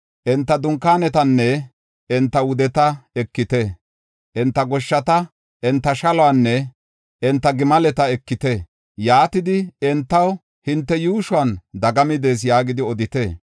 Enta dunkaanetanne enta wudeta ekite. Enta gesheta, enta shaluwanne enta gimaleta ekite. Yaatidi entaw, ‘Hinte yuushuwan dagami de7ees’ yaagidi odite.